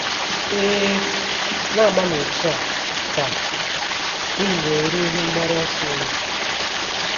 Ee, “ na - agbanụ otú a, ” ka unu wee ruo ihe mgbaru ọsọ unu.